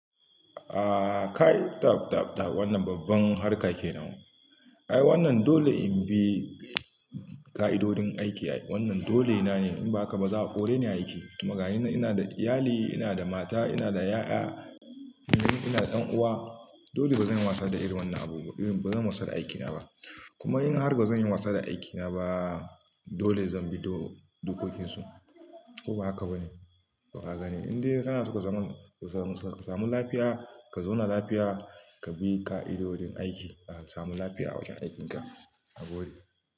Aaa, kai tab, tab, tab wannan babban harka kenan. Ai wannan dole in bi ƙa'idodin aiki. Wannan dole na ne in ba haka ba za a kore ni aiki. Domma ga ina ina da iyali, ina da mata, ina da ƴaƴa, ina da ɗan'uwa, dole bazan yi wasa da irin wannan abu ba. Bazan wasa da aikina ba. Kuma in har bazan yi wasa da aikina ba, dole zan bi dokokinsu. Ko ba haka ba ne? Ka gani in dai kana so ka samu lafiya, ka zauna lafiya, ka bi ƙa'idodin aiki. Ka samu lafiya a wajen aikinka. A gobe.